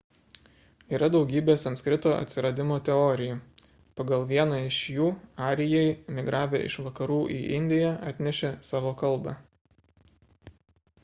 yra daugybė sanskrito atsiradimo teorijų pagal vieną iš jų arijai migravę iš vakarų į indiją atnešė savo kalbą